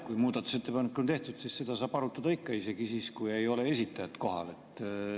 Kui muudatusettepanek on tehtud, siis seda saab arutada, isegi siis, kui ei ole esitajat kohal.